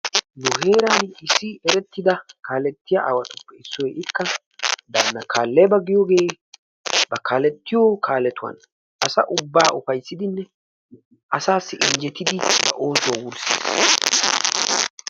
Nu heeran issi erettida kaalettiya aawatuppe issoy ikka daanna kaaleeba giyoge ba kaalettiyo kaaletuwan asa ubba ufayissidinne asaassi injjetidi oosuwa wurssis.